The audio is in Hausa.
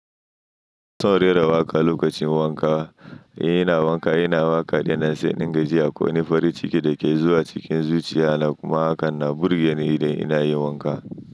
Son rera waƙa lokacin wanka. Ina wanka, ina waƙa da nan sai dinga ji akwai wani farin ciki da ke zuwa cikin zuciya na. Kuma hakan na burge ni idan ina yi wanka.